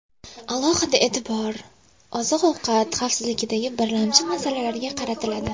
Alohida e’tibor oziq-ovqat xavfsizligidagi birlamchi masalalarga qaratiladi.